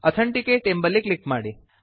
authenticate ಎಂಬಲ್ಲಿ click ಮಾಡಿ